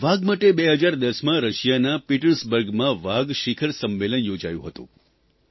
વાઘ માટે 2010માં રશિયાના પિટર્સબર્ગમાં વાઘ શિખર સંમેલન યોજાયું હતું